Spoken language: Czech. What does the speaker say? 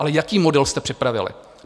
Ale jaký model jste připravili?